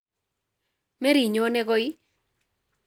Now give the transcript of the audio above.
Meronyone koi